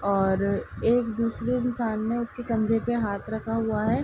और एक दूसरे इंसान ने उसके कंधे पे हाथ रखा हुआ है।